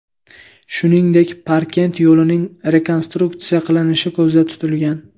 Shuningdek, Parkent yo‘lining rekonstruksiya qilinishi ko‘zda tutilgan.